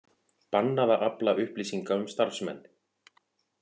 Bannað að afla upplýsinga um starfsmenn